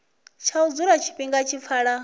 tsha u dzula tshifhinga tshilapfu